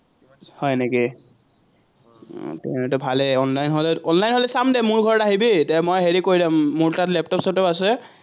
হয় নেকি, ভালেই, অনলাইন হলে, অনলাইন হলে চাম দে মোৰ ঘৰত আহিবি, তেতিয়া হেৰি কৰি দমি মোৰ তাতা লেপটপ-চেপটপ আছে।